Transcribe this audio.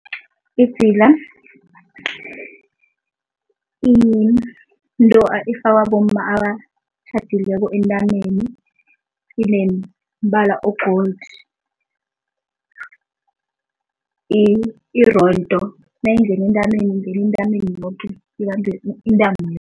Idzila yinto efakwa bomma abatjhadileko entameni, inemibala o-gold, irondo. Nayingena entameni ingena entameni yoke, ibambe intamo